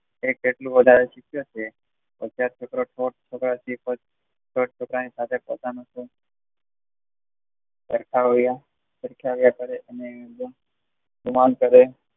એક જેટલું વધારે સીખીઓ છે અત્યરે છોકરો પોતપોતાની સાથે સરખાવ્યા સરખયવ્યા કરે અને